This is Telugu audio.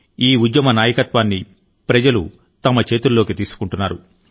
ఈ ఉద్యమ నాయకత్వాన్ని ప్రజలు తమ చేతుల్లోకి తీసుకుంటున్నారు